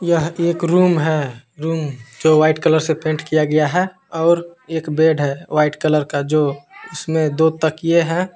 यह एक रूम है। रूम जो कलर से पेंट किया गया है और एक बेड है व्हाइट कलर का जो उसमें दो तकिए हैं।